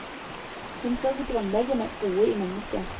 Hun så det grunnleggende gode i menneskene.